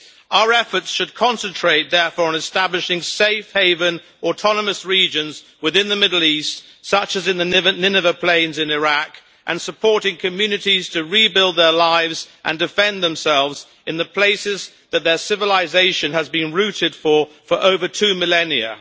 Our efforts should therefore concentrate on establishing safe haven autonomous regions within the Middle East, such as in the Nineveh Plains in Iraq, and supporting communities to rebuild their lives and defend themselves in the places that their civilisation has been rooted for over two millennia.